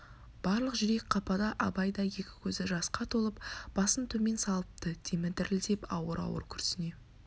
барлық жүрек қапада абай да екі көзі жасқа толып басын төмен салыпты демі дірілдеп ауыр-ауыр күрсіне